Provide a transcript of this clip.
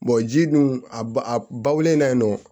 ji dun a ba a ba wolo in na yen nɔ